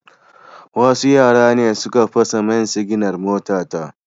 Wasu yara ne suka fasa main siginar motata